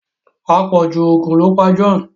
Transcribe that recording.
apọju oògùn lọ pá John.